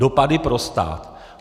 Dopady pro stát.